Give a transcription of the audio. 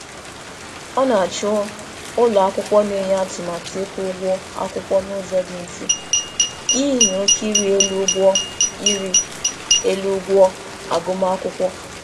Ọ na-achọ ụlọakwụkwọ na-enye atụmatụ ịkwụ ụgwọ akwụkwọ n'ụzọ dị mfe n'ihi oke iri elu ụgwọ iri elu ụgwọ agụmakwụkwọ.